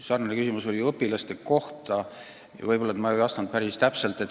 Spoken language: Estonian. Sama küsiti õpilaste esindatuse kohta, võib-olla ma ei vastanud päris täpselt.